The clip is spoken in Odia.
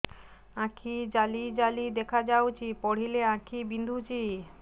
ଆଖି ଜାଲି ଜାଲି ଦେଖାଯାଉଛି ପଢିଲେ ଆଖି ବିନ୍ଧୁଛି